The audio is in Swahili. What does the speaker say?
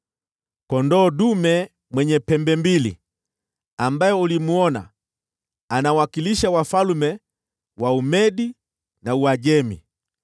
Kondoo dume mwenye pembe mbili ambaye ulimwona anawakilisha wafalme wa Umedi na Uajemi.